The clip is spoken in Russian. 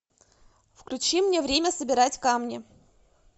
включи мне время собирать камни